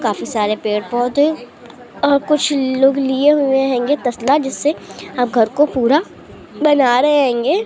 खाफी सारे पेड़ पौधे और कुछ लोग लिए हुवे होंगे तसला जिससे अब घर के पूरा बना रहे होंगे।